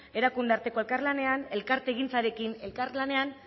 erakunde arteko elkarlanean elkartegintzarekin elkarlanean